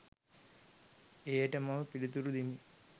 එයට මම පිලිතුරු දෙමි